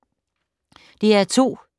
DR2